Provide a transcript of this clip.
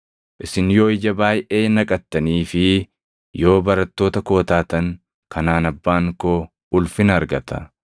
Isin yoo ija baayʼee naqattanii fi yoo barattoota koo taatan, kanaan Abbaan koo ulfina argata.